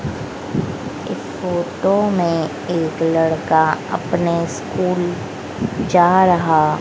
एक फोटो में एक लड़का अपने स्कूल जा रहा--